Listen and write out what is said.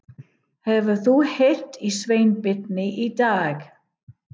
Hefurðu heyrt í Sveinbirni í dag?